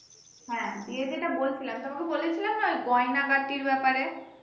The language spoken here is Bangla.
হ্যা ইয়ে যেটা বলছিলাম তোমাকে বলেছিলাম না গয়নাগাটির ব্যাপারে